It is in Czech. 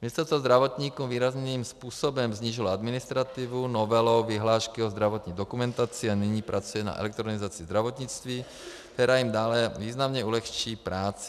Ministerstvo zdravotníkům výrazným způsobem snížilo administrativu novelou vyhlášky o zdravotní dokumentaci a nyní pracuje na elektronizaci zdravotnictví, která jim dále významně ulehčí práci.